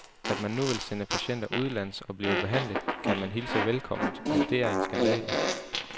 At man nu vil sende patienter udenlands og blive behandlet, kan man hilse velkomment, men det er en skandale.